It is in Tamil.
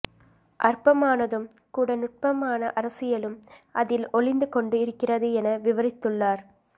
அற்பமானதும் கூட நுட்பமான அரசியலும் அதில் ஒலிந்துகொண்டு இருக்கிறது என விவரித்துள்ளார்